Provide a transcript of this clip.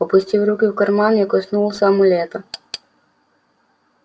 опустив руку в карман я коснулся амулета